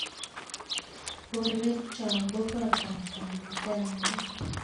borweekchok ko kotaab kamuktaindet